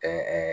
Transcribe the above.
Ɛɛ